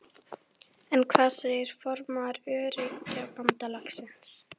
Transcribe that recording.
En hvað segir formaður Öryrkjabandalagsins?